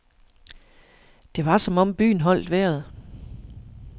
Det var som om byen holdt vejret.